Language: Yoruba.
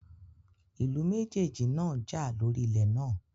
Ìlú méjèèjì náà jà lóri ilé náà